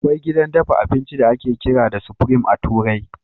Akwai gidan dafa abinci da ake kira da Supreme a turai.